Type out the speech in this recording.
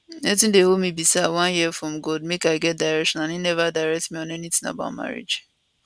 wetin dey hold me be say i wan hear from god make i get direction and im neva direct me on anytin about marriage